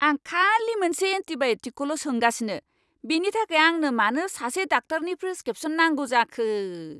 आं खालि मोनसे एन्टीबाय'टिकखौल' सोंगासिनो! बेनि थाखाय आंनो मानो सासे डाक्टारनि प्रेसक्रिप्शन नांगौ जाखो?